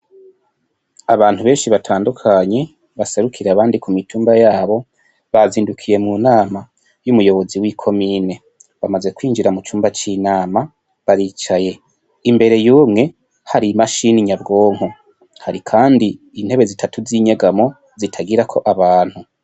Abantu benshi batandukanye baserukiye abandi ku mitumba yabo bazindukiye mu nama yumuyobozi wi komine bamaze kwinjira mu cumba c'inama baricaye imbere yumwe hari imashini nyabgonko, hari kandi intebe zitatu zinyegamo zitagira abantu.